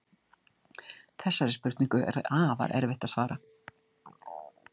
Þessari spurningu er afar erfitt að svara.